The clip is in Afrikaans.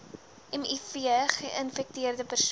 miv geinfekteerde persone